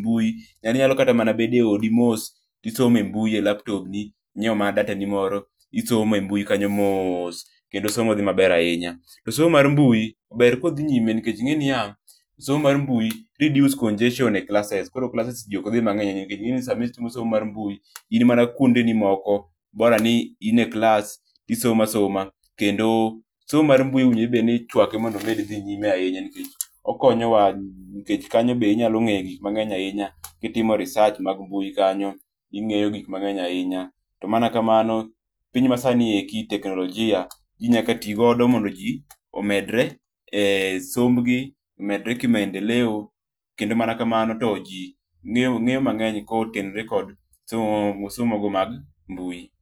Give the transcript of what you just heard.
mbui, en inyalo kata bet odi mos tisomo e mbui, e laptop ni inyiew mana data ni moro isomo e mbui kanyo moos Kendo somo dhi maber ahinya . To somo mar mbui ber ka odhi nyime nikech inge niya, somo mar mbui reduce congestion e klases koro klases jii ok dhi mangeny nikech ingeni sama isomo mar mbui in mana kuonde ni moko borani in e klas isomo asoma kendo somo mar mbui owinjo obed ni ichwake mondo omed dhi nyime ahinya nikech okonyowa nikech kanyo be inyalo ngeyo gik mangeny ahinya kitimo research mag mbui kanyo ingeyo gik mangeny ahinya, to mana kamano, piny masani eki teknolojia jii nyaka tii godo nmondo jii omedre e sombgi, omedre ki maendeleo kendo mana kamano to jii ngeyo mangeny kotenore kod somo go mag mbui